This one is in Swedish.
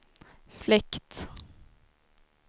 fläkt